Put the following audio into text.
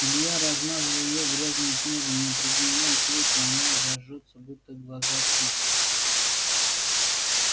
илья размазал её грязным снегом но при дневном свете она зажжётся будто глаза печь